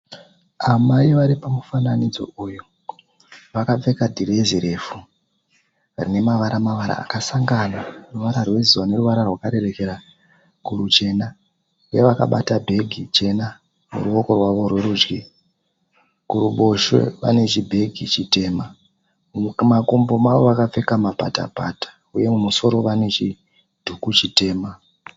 Amai vari pamufananidzo uyu vakapfeka dhirezi refu rine mavara mavara akasangana, ruvara rwezuva neruvara rwarerekera kuruchena uye vakabata bhegi jena kuruwoko rwavo rwerudyi. Kuruboshwe vane chibhegi chitema. Mumakumbo mavo vakapfeka mapatapata uye mumusoro vane chidhuku chitema.